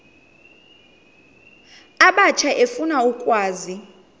abatsha efuna ukwazi